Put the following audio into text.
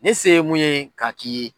Ne se ye mun ye k'a k'i ye